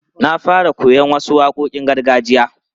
Na fara koyon wasu waƙoƙin gargajiya.